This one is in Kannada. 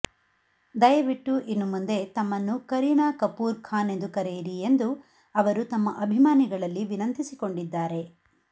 ದಯವಿಟ್ಟು ಇನ್ನು ಮುಂದೆ ತಮ್ಮನ್ನು ಕರೀನಾ ಕಪೂರ್ ಖಾನ್ ಎಂದು ಕರೆಯಿರಿ ಎಂದು ಅವರು ತಮ್ಮ ಅಭಿಮಾನಿಗಳಲ್ಲಿ ವಿನಂತಿಸಿಕೊಂಡಿದ್ದಾರೆ